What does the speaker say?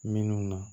Minnu na